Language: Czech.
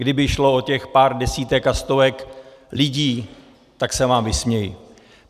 Kdyby šlo o těch pár desítek a stovek lidí, tak se vám vysměji.